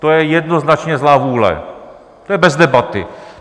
To je jednoznačně zlá vůle, to je bez debaty.